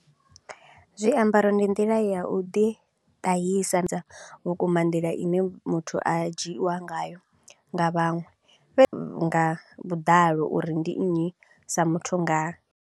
Zwiambaro ndi nḓila ya u ḓi tahisa dza vhukuma nḓila i ne muthu a dzhiiwa ngayo nga vhaṅwe nga vhuḓalo uri ndi nnyi sa muthu nga.